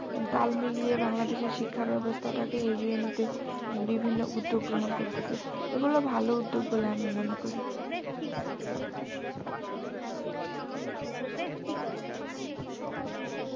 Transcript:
তাল মিলিয়ে বাংলাদেশের শিক্ষাব্যবস্থাটাকে এগিয়ে নিতে বিভিন্ন উদ্যোগ গ্রহণ করতেসে এগুলো ভালো উদ্যোগ বলে আমি মনে করি হুম এছাড়াও মনে কর আমাদের দরকার এখন থেকে বাচ্চা দেরকে